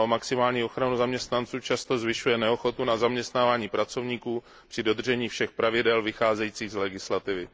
Snaha o maximální ochranu zaměstnanců často zvyšuje neochotu zaměstnávání pracovníků při dodržení všech pravidel vycházejících z legislativy.